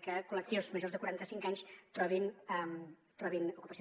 que col·lectius majors de quaranta cinc anys trobin ocupació